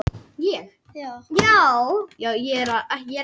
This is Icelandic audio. Fjórir á sjúkrahús eftir árekstur